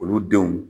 Olu denw